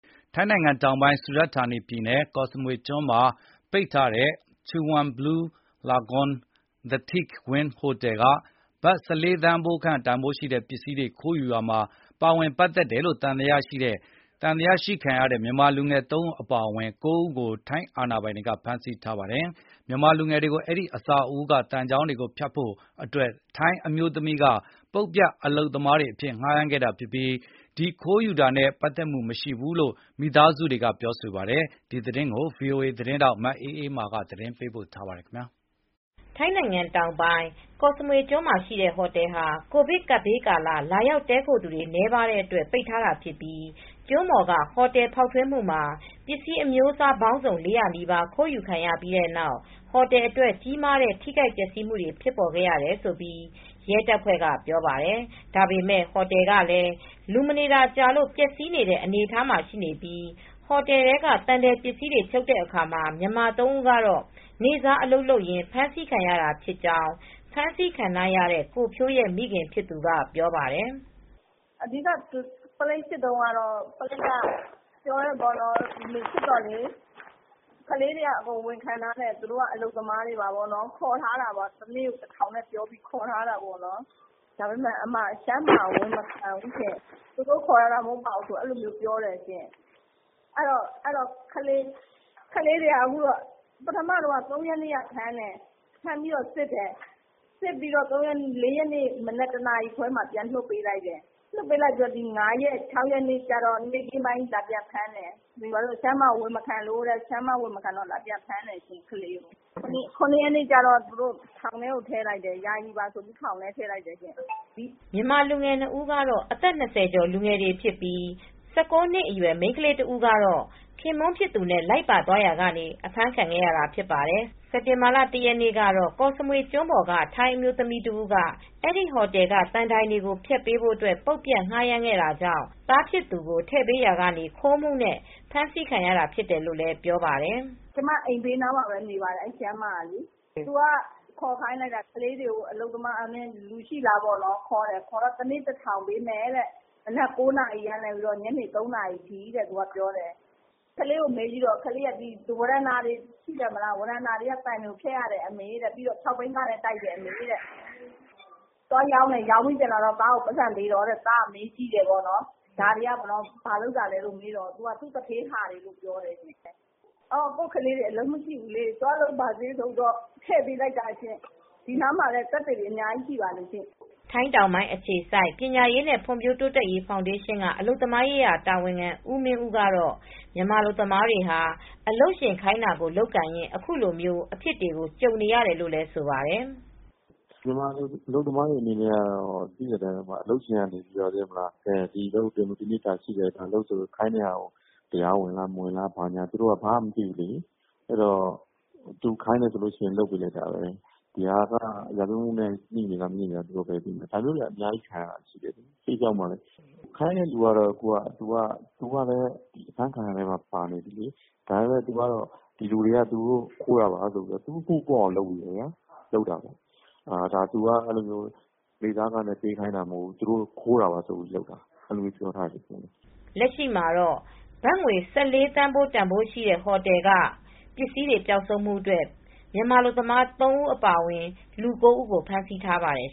ထိုင်းနိုင်ငံတောင်ပိုင်း စူရတ်ဌာနီပြည်နယ် ကော့စမွေကျွန်းမှာရှိတဲ့ ပိတ်ထားတဲ့ Chaweng Blue Lagoon The Teak Wing ဟိုတယ်က ဘတ် ၁၄ သန်းခန့်တန်ဖိုးရှိတဲ့ ပစ္စည်းတွေ ခိုးယူရာမှာ ပါဝင် ပတ်သက်တယ်လို့ သံသယရှိတဲ့ မြန်မာလူငယ် ၃ ဦးအပါအဝင် လူ ၉ ဦးကို ထိုင်းအာဏာပိုင်တွေက ဖမ်းဆီးပြီး အကျဉ်းထောင်ထဲ ပို့ထားပါတယ်။ မြန်မာလူငယ်တွေကို အဲဒီအဆောက်အဦးက သံချောင်းတွေကို ဖြတ်ဖို့အတွက် ထိုင်းအမျိုးသမီးတဦးက ပုတ်ပြတ်အလုပ်သမားတွေ အဖြစ်ငှားရမ်းခဲ့တာဖြစ်ပြီး ဒီလိုခိုးယူတာနဲ့ ပတ်သက်မှု မရှိဘူးလို့လည်း မိသားစုတွေက ဆိုပါတယ်။ ဒီသတင်းကို ဗွီအိုအေ သတင်းထောက် မအေးအေးမာက သတင်းပေးပို့ ထားပါတယ်။ ထိုင်းနိုင်ငံတောင်ပိုင်း ကော့စမွေကျွန်းမှာ ရှိတဲ့ ဟိုတယ်ဟာ ကိုဗစ်ကာလ လာရောက်တည်းခိုသူတွေ နည်းတဲ့အတွက် ပိတ်ထားတာဖြစ်ပြီး ကျွန်းပေါ်က ဟိုတယ်ဖောက်ထွင်းမှုမှာ ပစ္စည်းအမျိုးအစား ပေါင်းစုံ ၄၀၀ နီးပါး ခိုးယူခံရပြီး ဟိုတယ်အတွက် ကြီးမားတဲ့ ထိခိုက်ပျက်စီးမှုတွေ ဖြစ်ပေါ်ခဲ့တယ်လို့ ရဲတွေက ပြောပါတယ်။ ဒါပေမယ့် ဟိုတယ်ကလည်း လူမနေတာကြာလို့ ပျက်စီးနေတဲ့ အနေအထားမှာရှိပြီး ဟိုတယ်က သံထည်ပစ္စည်းတွေ ဖြုတ်တဲ့အခါမှာ မြန်မာ ၃ ဦးကတော့ နေ့စား အလုပ်လုပ်ရင်း ဖမ်းဆီးခံရတာဖြစ်ကြောင်း ဖမ်းဆီးခံထားရတဲ့ ကိုဖြိုးရဲ့ မိခင်ဖြစ်သူ ပြောပြပါတယ်။ “ အဓိက ပုလိပ်စစ်တုန်းကတော့ ပုလိပ်ကပြောတယ် စစ်တော့ ကလေးတွေဝန်ခံတယ်။ သူတို့က အလုပ်သမားတွေသာ ဖြစ်တယ်။ တနေ့ ၁,၀၀၀ ပေးပြီးခေါ်ထားတာဖြစ်တယ်လို့ ပြောကြတယ်။ ဒါပေမယ့် ရှမ်းမ (ထိုင်းမ) က ဝန်မခံဘူး ဖြစ်နေတယ်။ သူတို့ ခေါ်ထားတာ မဟုတ်ပါဘူးလို့ ပြောတယ်။ ကလေးတွေက ၃ရက်နေ့က ဖမ်းတယ်။ ဖမ်းပြီး စစ်တယ်။ ၄ ရက်နေ့ မနက် တနာရီခွဲမှာ ပြန်လွှတ်ပေးလိုက်တယ်။ ဒီ ၅ ရက်နေ့နဲ့ ၆ ရက်နေ့မှာ လာပြန်ဖမ်းတယ်။ ရှမ်းမက ဝန်မခံလို့ ဆိုပြီး လာပြန်ဖမ်းတယ်။ ၇ ရက်နေ့ ကျတော့ ယာယီပါ ဆိုပြီး ထောင်ထဲ ထည့်လိုက်တယ်။ ” မြန်မာလူငယ်တွေ ၂ ဦးကတော့ အသက် ၂၀ ကျော် လူငယ်တွေဖြစ်ပြီး ၁၉ နှစ်အရွယ် မိန်းကလေး တဦးကတော့ သူခင်ပွန်းဖြစ်သူနဲ့ လိုက်ပါသွားရာကနေ အဖမ်းခံခဲ့ရတာ ဖြစ်ပါတယ်။ စက်တင်ဘာလ ၁ ရက်နေ့ ကတော့ ကော့စမွေကျွန်းပေါ်က ထိုင်းအမျိုးသမီးတဦးက အဲဒီဟိုတယ်က သံတိုင်တွေကို ဖျက်ပေးဖို့ ပုတ်ပြတ်ငှားရမ်းခဲ့တာကြောင့် သားဖြစ်သူကို ထည့်ပေးလိုက်ရာကနေ ခိုးမှုနဲ့ ဖမ်းဆီးတာခံရတယ်လို့ ပြောပါတယ်။ “ အဲဒီရှမ်းမက ကျမအိမ်နားမှာပဲနေပါတယ်။ သူကခေါ်ခိုင်းလိုက်တာ။ လူရှိလား တနေ့ကို ၁,၀၀၀ ပေးမယ်။ မနက် ၉ နာရီကနေ ည ၃ နာရီ ထိ အလုပ်လုပ်ရမယ်။ ကလေးကို မေးကြည့်တော့ ဝရန်တာက သံတိုင်တွေကိုဖြတ်ရတယ်။ ပြီးတော့ ၆ ဘီးကားနဲ့ တိုက်ရတယ်။ ပြီးတော့ သွားရောင်းတယ်။ ရောင်းပြီး ပြန်လာတော့ သားကို ပိုက်ဆံပေးတယ်။ သားကမေးကြည့်တော့ သူ့ သူဌေးဟာလို့ပဲပြောတယ်။ ကိုယ့်ကလေးတွေ အလုပ်မရှိဘူးဆိုပြီး တည့်ပေးလိုက်တာပါရှင်။ ဒီနားမှာလည်း သက်သေတွေ အများကြီး ရှိပါတယ်။ ” ထိုင်းတောင်ပိုင်း အခြေစိုက် ပညာရေးနဲ့ ဖွံံ့ဖြိုးတိုးတက်ရေး ဖောင်ဒေးရှင်က အလုပ်သမားရေးရာ တာဝန်ခံ ဦးမင်းဦးကတော့ မြန်မာအလုပ်သမားတွေဟာ အလုပ်ရှင်ခိုင်းတာ လုပ်ကိုင်ရင်း အခုလိုအဖြစ်တွေကို ကြုံနေရတယ်လို့ ဆိုပါတယ်။ “ မြန်မာအလုပ်သမားတွေ အနေနဲ့ အလုပ်ရှင်က ဒီအလုပ်ကို လုပ်ဆိုရင် တရားဝင် မဝင်ဘူးလား မသိဘူးလေ သူခိုင်းတယ်ဆိုရင် လုပ်ပေးလိုက်တာပဲ။ ဒါက ရာဇဝတ်မှုနဲ့ ငြိနေလား မငြိဘူးလား မသိဘူးလေ။ ဒါမျိုးတွေ ခံနေရတာ။ ခိုင်းတဲ့သူက အဖမ်းခံရတဲ့အထဲမှာ ပါနေတယ်။ ဒီလူတွေက ခိုးတာပါဆိုပြီး သူ အမှုပေါ့အောင် လုပ်နေတယ်။ ဒီလူတွေ နေ့စားခိုင်းတာလို့ မပြောဘူး။ သူတို့ ဘာသာ ခိုးတာ ဆိုပြီး လုပ်နေတာ။ ” လက်ရှိမှတော့ ဘတ် ၁၄ သန်းဖိုး တန်ဖိုးရှိတဲ့ ဟိုတယ်က ပစ္စည်းတွေ ပျောက်ဆုံးမှု အတွက် မြန်မာအလုပ်သမား ၃ ဦး အပါအဝင် လူ ၉ ဦးကို ဖမ်းဆီးထားပါတယ်